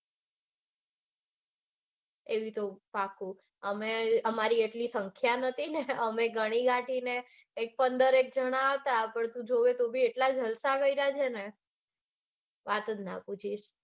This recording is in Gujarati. એવી તો પાક્કું અમે અમારી એટલી સંખ્યા નતી ને પણ અમે ઘણીગાંઠીને પંદરએક જણા હતા તો બી એટલા જલસા કર્યા છેને કે વાત જ ના પૂછ.